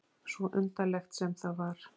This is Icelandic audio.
Svo undarlegt sem það var.